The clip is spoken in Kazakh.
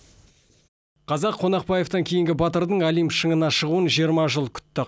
қазақ қонақбаевтан кейінгі батырдың олимп шыңына шығуын жиырма жыл күтті